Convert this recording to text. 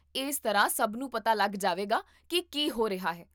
ਇਸ ਤਰ੍ਹਾਂ ਸਭ ਨੂੰ ਪਤਾ ਲੱਗ ਜਾਵੇਗਾ ਕੀ ਕੀ ਹੋ ਰਿਹਾ ਹੈ